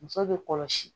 Muso bɛ kɔlɔsi